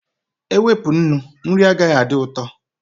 Ewepụ nnu, nri agaghị adị ụtọ